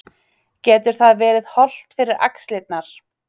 Getur það verið hollt fyrir axlirnar?